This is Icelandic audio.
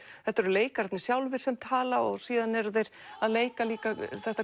þetta eru leikararnir sjálfir sem tala og síðan eru þeir að leika líka þetta